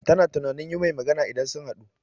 Ta na tunanin yi mai magana idan sun haɗu